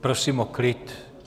Prosím o klid.